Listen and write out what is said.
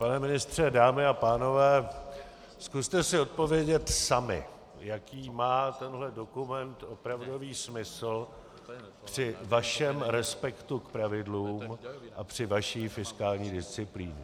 Pane ministře, dámy a pánové, zkuste si odpovědět sami, jaký má tenhle dokument opravdový smysl při vašem respektu k pravidlům a při vaší fiskální disciplíně.